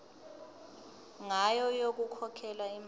ngayo yokukhokhela imali